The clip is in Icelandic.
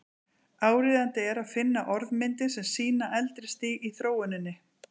Áríðandi er að finna orðmyndir sem sýna eldra stig í þróuninni.